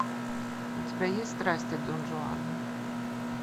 у тебя есть страсти дон жуана